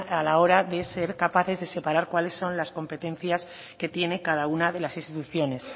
a la hora de ser capaces de separar cuales son las competencia que tiene cada una de las instituciones